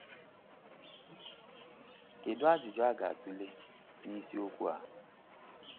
Kedu ajụjụ a ga-atụle n’isiokwu a?